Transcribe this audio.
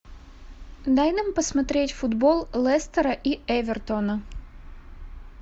дай нам посмотреть футбол лестера и эвертона